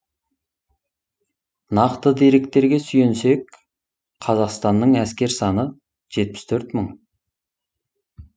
нақты деректерге сүйенсек қазақстанның әскер саны жетпіс төрт мың